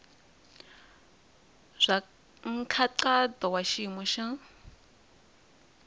bya nkhaqato wa xiyimo xa